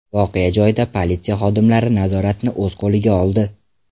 Voqea joyida politsiya xodimlari nazoratni o‘z qo‘liga oldi.